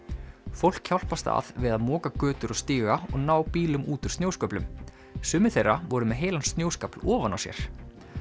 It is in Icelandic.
fólk hjálpast að við að moka götur og stíga og ná bílum út úr snjósköflum sumir þeirra voru með heilan snjóskafl ofan á sér